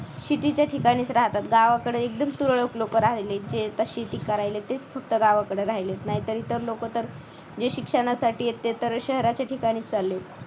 city च्या ठिकाणीच राहतात. गावाकडे एकदम तुरळक लोक राहिलेत जे आता शेती करायला तेच फक्त गावाकडे राहिले नाही तर इतर लोक तर जे शिक्षणासाठी आहेत ते तर शहराच्या ठिकाणी चाललेत.